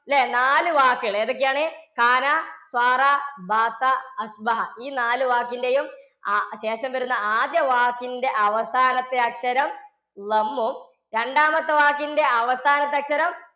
ല്ലേ? നാലു വാക്ക് ല്ലേ? എതൊക്ക്യാണ്? ഈ നാലു വാക്കിന്റെയും ആ~ ശേഷം വരുന്ന ആദ്യ വാക്കിന്റെ അവസാനത്തെ അക്ഷരം രണ്ടാമത്തെ വാക്കിന്‍ടെ അവസാനത്തെ അക്ഷരം